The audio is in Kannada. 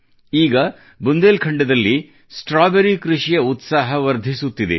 ಈಗ ಬುಂದೇಲಖಂಡದಲ್ಲಿ ಸ್ಟ್ರಾಬೆರಿ ಕೃಷಿಯ ಉತ್ಸಾಹ ವರ್ಧಿಸುತ್ತಿದೆ